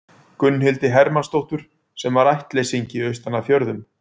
Gunnhildi Hermannsdóttur, sem var ættleysingi austan af fjörðum.